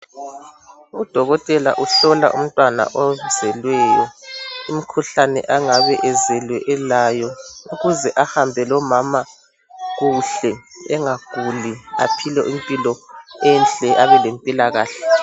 Udokotela uhlola umntwana ozelweyo imikhuhlane angabe ezelwe belayo ukuze ahambe lomama kuhle engaguli aphile impilo enhle abale mpilakahle.